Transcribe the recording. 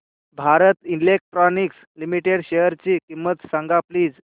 Bharat Electronics Limited शेअरची किंमत सांगा प्लीज